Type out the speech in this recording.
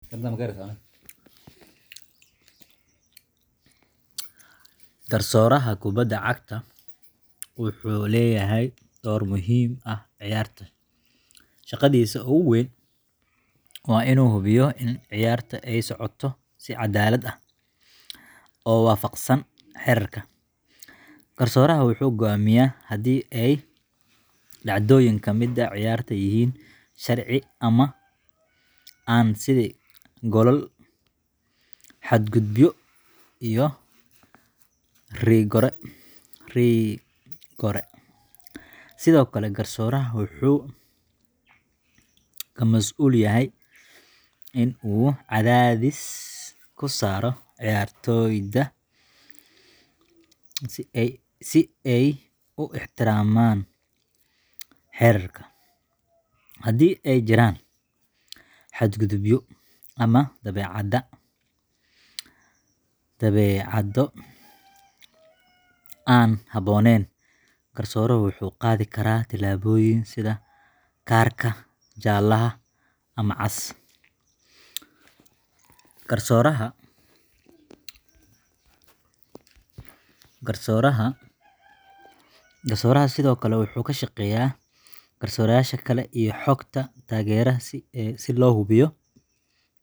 Garsooraha kubadda cagta wuxuu leeyahay door muhiim ah ciyaarta. Shaqadiisa ugu weyn waa in uu hubiyo in ciyaarta ay socoto si cadaalad ah oo waafaqsan xeerarka. Garsooraha wuxuu go'aamiyaa haddii ay dhacdooyin ka mid ah ciyaarta yihiin sharci ama aan, sida goolal, xadgudubyo, iyo rigoore. Sidoo kale, garsooraha wuxuu ka mas'uul yahay in uu cadaadis ku saaro ciyaartoyda si ay u ixtiraamaan xeerarka. Haddii ay jiraan xadgudubyo ama dabeecad aan habboonayn, garsooruhu wuxuu qaadi karaa tallaabooyin sida kaararka jaalaha ama cas. Garsooraha sidoo kale wuxuu la shaqeeyaa garsoorayaasha kale iyo kooxaha taageerada si loo hubiyo in ciyaarta ay socoto nabad iyo amni. Isku soo wada duuboo, garsooraha waa laf-dhabarta ciyaarta, isagoo xaqiijinaya in ciyaarta ay noqoto mid cadaalad ah oo xiiso leh.